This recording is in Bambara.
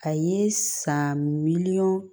A ye san biliyɔn